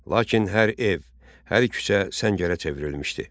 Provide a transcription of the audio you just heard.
Lakin hər ev, hər küçə səngərə çevrilmişdi.